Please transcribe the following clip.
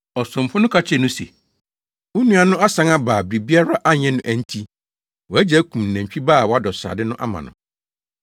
Ɔsomfo no ka kyerɛɛ no se, ‘Wo nua no asan aba a biribiara anyɛ no enti, wʼagya akum nantwi ba a wadɔ srade no ama no.’